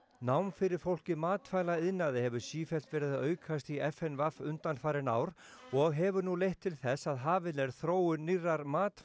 nám fyrir fólk í matvælaiðnaði hefur sífellt verið að aukast í f n v undanfarin ár og hefur nú leitt til þess að hafin er þróun nýrrar